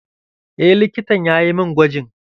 Eh, likitan yayi mun gwajin.